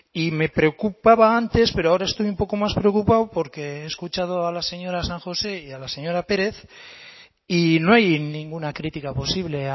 y me preocupaba antes pero ahora estoy un poco más preocupado porque he escuchado a la señora san josé y a la señora pérez y no hay ninguna crítica posible